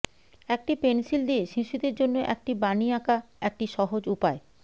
একটি পেন্সিল দিয়ে শিশুদের জন্য একটি বানি আঁকা একটি সহজ উপায়